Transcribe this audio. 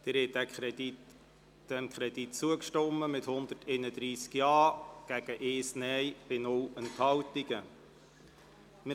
Sie haben dem Kredit mit 131 Ja-Stimmen bei 1 Nein-Stimme und 0 Enthaltungen zugestimmt.